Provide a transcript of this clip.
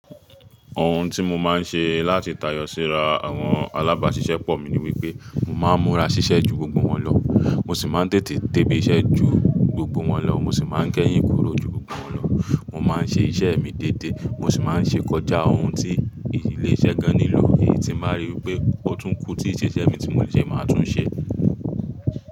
Ohun tí mo máa ń ṣe láti tayọ síra àwọn alábàáṣiṣẹ́ pọ̀ mi ni wípé mo máa ń múra ṣiṣẹ́ ju gbogbo wọn lọ. Mo sì máa ń tètè débi iṣẹ́ ju gbogbo wọn lọ. Mo sì máa ń kéyìn kúrò ju gbogbo wọn lọ. Mo máa ń ṣe iṣẹ́ mi dédé. Mo sì máa ń ṣe kọjá ohun tí ílé iṣẹ́ gan nílò tí n báa rí pé ó tún kún tí iṣẹ́ tí èmi ti mo le ṣe máa tún ṣẹ.